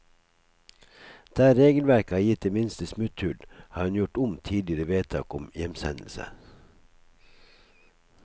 Der regelverket har gitt det minste smutthull, har hun gjort om tidligere vedtak om hjemsendelse.